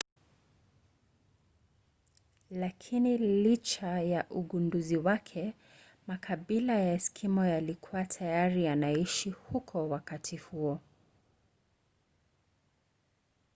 lakina licha ya ugunduzi wake makabila ya eskimo yalikuwa tayari yanaishi huko wakati huo